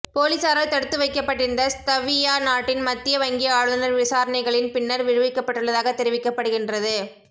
பொலிஸாரால் தடுத்து வைக்கப்பட்டிருந்த லத்வியா நாட்டின் மத்திய வங்கி ஆளுனர் விசாரணைகளின் பின்னர் விடுவிக்கப்பட்டுள்ளதாக தெரிவிக்கப்படுகின்றது